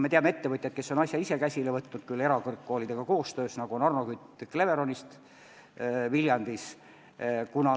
Me teame ettevõtjat, kes on asja ise käsile võtnud, küll erakõrgkoolidega koostöös: see on Arno Kütt Cleveronist Viljandis.